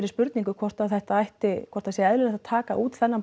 spurningu hvort að þetta ætti hvort að sé eðlilegt að taka út þennan